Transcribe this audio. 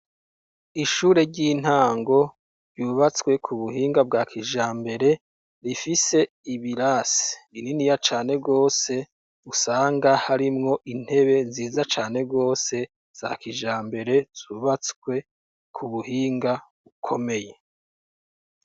Ishure ry'intango ryubatswe kubuhinga bwa kijambere, rifise ibirase bininiya cane gose, usanga harimwo intebe nziza cane gose za kijambere zubatswe kubuhinga bukomeye.